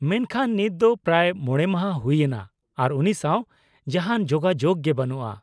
-ᱢᱮᱱᱠᱷᱟᱱ ᱱᱤᱛ ᱫᱚ ᱯᱨᱟᱭ ᱢᱚᱬᱮ ᱢᱟᱦᱟ ᱦᱩᱭ ᱮᱱᱟ ᱟᱨ ᱩᱱᱤ ᱥᱟᱶ ᱡᱟᱦᱟᱱ ᱡᱳᱜᱟᱡᱳᱜ ᱜᱮ ᱵᱟᱹᱱᱩᱜᱼᱟ ᱾